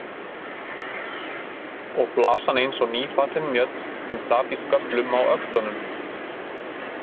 Og flasan eins og nýfallin mjöll sem sat í sköflum á öxlunum.